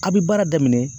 A' bi baara daminɛ